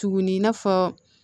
Tuguni i n'a fɔ